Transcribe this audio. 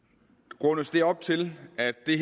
rundes det her op til at det